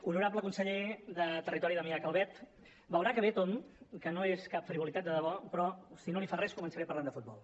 honorable conseller de territori damià calvet veurà que ve a tomb que no és cap frivolitat de debò però si no li fa res començaré parlant de futbol